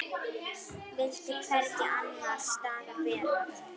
Vildi hvergi annars staðar vera.